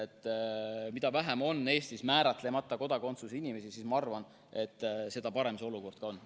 Ma arvan, et mida vähem on Eestis määratlemata kodakondsusega inimesi, seda parem olukord on.